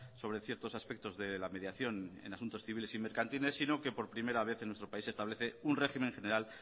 sobre ciertos aspectos de la mediación en asuntos civiles y mercantiles sino que por primera vez en nuestro país se establece un régimen general